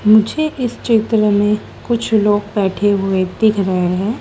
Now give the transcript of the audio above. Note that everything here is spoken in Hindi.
मुझे इस चित्र में कुछ लोग बैठे हुए दिख रहे हैं।